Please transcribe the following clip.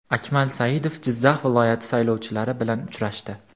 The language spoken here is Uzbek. Akmal Saidov Jizzax viloyati saylovchilari bilan uchrashdi.